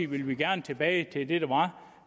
vil vi gerne tilbage til det der var